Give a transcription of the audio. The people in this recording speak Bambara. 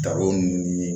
Daro nunnu ye